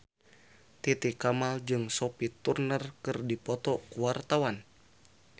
Titi Kamal jeung Sophie Turner keur dipoto ku wartawan